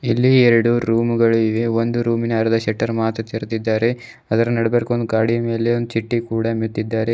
ಇಲ್ಲಿ ಎರಡು ರೂಮುಗಳಿವೆ ಒಂದು ರೂಮಿನ ಅರ್ಧ ಶಟರ್ ಮಾತ್ರ ತೆರ್ದಿದ್ದಾರೆ ಅದ್ರ ನಡುಬರ್ಕ್ ಗಾಡಿ ಮೇಲೆ ಚಿಟ್ಟಿ ಕೂಡ ಮೆತ್ತಿದ್ದಾರೆ.